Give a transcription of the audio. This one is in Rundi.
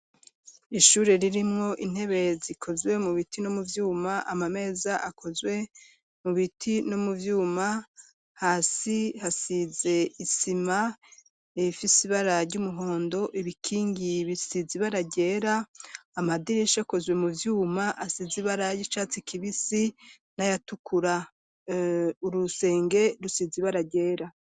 Ishure ririmwo intebe zikozwe mu biti no mu vyuma, amameza akozwe mu biti no mu vyuma hasi hasize isima ifise ibara ry'umuhondo ibikingi bisize ibara ryera amadirisha akozwe mu vyuma asize ibara ryicatsi kibisi n'ayatukura, urusenge rusize ibara ryera.